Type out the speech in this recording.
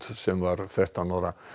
sem var þrettán ára